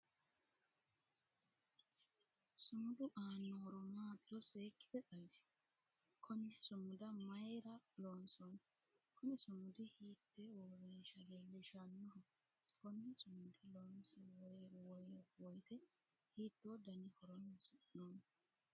Sumudu aano horo maatiro seekite xawisi? Konne sumuda mayira loonsoonni? Kunni sumudi hiitee uurinsha leelishanoho? Konne sumuda loonsi woyite hiitoo danna horoonsi'noonni?